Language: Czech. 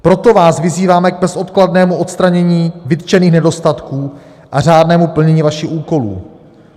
Proto vás vyzýváme k bezodkladnému odstranění vytčených nedostatků a řádnému plnění vašich úkolů.